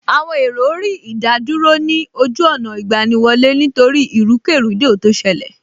Àwọn èrò rí ìdádúró ní ojú ọ̀nà ìgbaniwọlé nítorí ìrúkèrúdò tó ṣẹlẹ̀